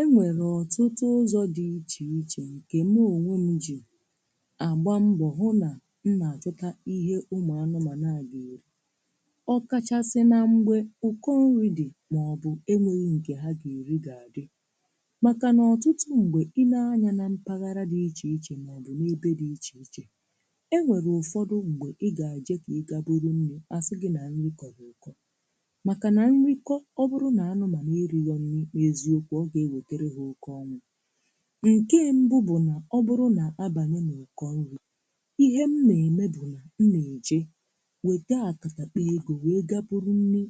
E nwere ọtụtụ ụzọ dị iche iche nke mụ onwe m ji agba mbọ hụ na m na-achụta ihe ụmụanụmanụ a na-eri. Ọ kachasị na mgbe ụkọ nri dị maọbụ enweghi nke ha ga-eri ga-adị. Maka na ọtụtụ mgbe, i lee anya na mpaghara dị iche iche maọbụ n'ebe dị iche iche, e nwere ụfọdụ mgbe ị ga-eje ka ị gaa buru nri, a sị gị na nri kọrọ ụkọ. Maka na nri kọọ, ọ bụrụnaala na ha erirọ nri n'eziokwu, ọ ga ewetere ha oke ọnwụ. Nke mbụ bụ na ọ bụrụ na-abanye n'ụkọ nri, ihe m meeme bụ na m me eje wete akatakpọ ego wee buru nri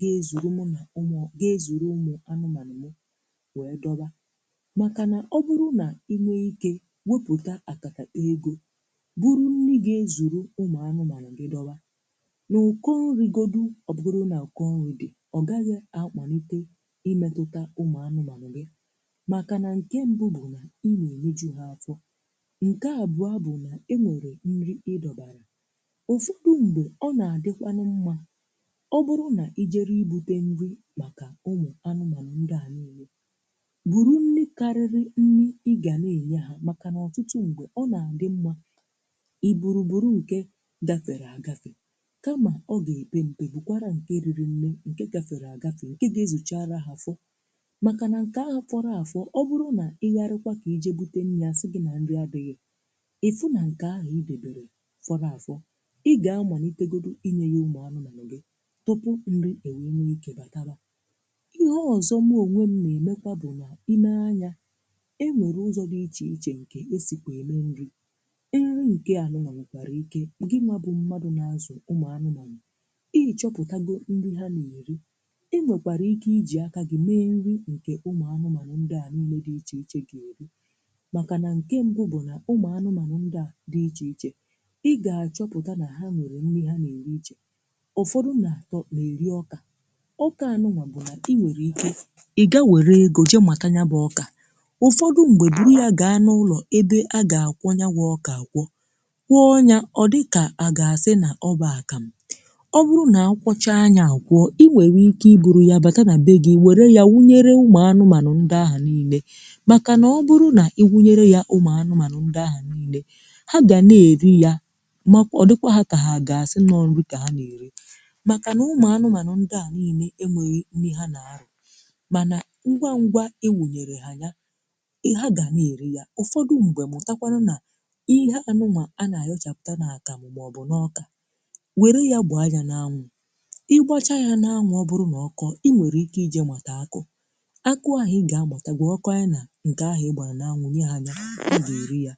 ga-ezuru mụ na ụmụọ ga-ezuru ụ̀mụanụmanụ mụ wee dọba. Maka na ọ bụrụ na i nwee ike wepụta akatakpọ ego, buru nri ga-ezuru ụmụanụmanụ gị doba, n'ụkọ́ nri godu ọ bụgodu na ụkọnri dị, ọ gaghị amalite imetụta ụmụanụmanụ gị. Maka na nke mbụ bụ: ị na-enyeju ha afọ, nke abụọ bụ na e nwere nri ị dọbara. Ụfọdụ mgbe, ọ na-adịkwanụ mma, ọbụrụ na i jee i bute nri maka ụmụanụmanụ niile, buru nri karịrị nrị ị ga na-enye ha maka na ọtụtuụ mgbe ọ na-adị mma i buru buru nke gafere agafe, kama ọ ga-epe mpe, bukwara nke riri nne, nke gafere agafe, nke ga-ezuchara ha fọ. Maka na nke ahụ fọrọ a fọ, ọ bụrụ na ị yarịkwa ka i je bute nri a sị gị na nri adịghị, ị fụ na nke ahụ i dobere fọrọ afọ, ị ga-amalitegodi i nye ya ụmụanụmanụ gị tupuu nri e wee nwee ike batawa. Ihe ọzọ mụ onwe m na-emekwa bụ na i lee anya, e nwere ụzọ dị iche iche nke e sikwe eme nri. Nri nke a nwekwara ike ngịnwa bụ mmadụ na-azụ ụmụanụmanụ, ị chọpụtago nri ha na-eri. I nwekwara ike i ji aka gị mee nri nke ụmụanụmanụ ndịa na-eri. Maka na nke mbụ bụ na ụmụanụmanụ ndị a dị iche iche, ị ga-achọpụta na ha nwere nri ha na-eri iche. Ụfọdụ na-eri ọka. Ọkaanụ̀nwa bụ na i nwere ike i ga were ego jee mata nyabụ ọka. Ụfọdụ mgbe, buru ya gaa n'ụlọ ebe a ga-akwọ nyabụ ọka akwọ, kwọọ ya ọ dị ka a ga-asị na ọ bụ akamụ. Ọ bụrụ na-akwọchaa ya a kwọọ, i nwere ike i buru ya bata na be gị, were ya wunyere ụmụanụmanụ ndị ahụ niile. Maka na ọ bụrụ na i wunyere ya ụmụanụmanụ ndị ahụ niile, ha ga na-eri ya ma ọ dịkwa ha ka ha a ga-asị na ọ bụ nri ka ha na-eri, maka na ụmụanụmanụ ndị a niile enweghị nri ha na-arọ. Mana ngwa ngwa i wunyere ha ya, ị ha ga na-eri ya. Ụfọdụ mgbe, mụtakwanụ na iheanụnwa a na-ayọchapụta n'akamụ maọbụ n'ọka, were ya gbaa ya n'anwụ. I gbachaa ya n'anwụ ọ bụrụ na ọkọọ, i nwere ike i je mata akụ. Akụ ahụ ị ga-amata, gwakọọ nya na nke ahụ ị gbara n'anwụ, nye ha ya, ha ga-eri ya.